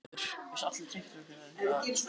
Ef þú borðar ekkert nema linan mat verður þú linur.